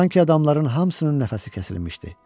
Sanki adamların hamısının nəfəsi kəsilmişdi.